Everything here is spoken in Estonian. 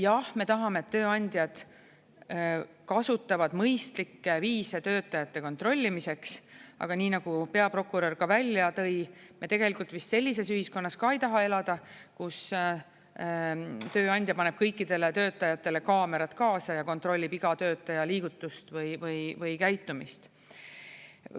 Jah, me tahame, et tööandjad kasutavad mõistlikke viise töötajate kontrollimiseks, aga nii nagu peaprokurör ka välja tõi, me tegelikult vist sellises ühiskonnas ka ei taha elada, kus tööandja paneb kõikidele töötajatele kaamerad kaasa ja kontrollib iga töötaja liigutust või käitumist.